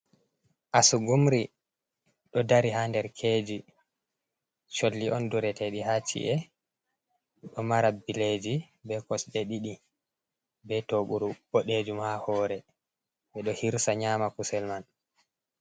Asugumri do dari ha nder keji solli on duroteɗi ha si’e do mara bileji be kosɗe didi be toɓuru bodejum ha hore be do hirsa nyama kusel man.